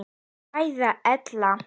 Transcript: Kveðja Ella.